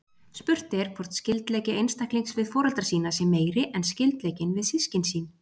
Spurt er hvort skyldleiki einstaklings við foreldra sína sé meiri en skyldleikinn við systkin sín.